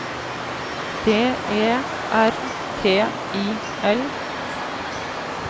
D E R T I L